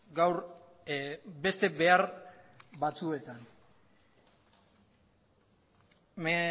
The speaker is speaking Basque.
gaur beste behar batzuetan me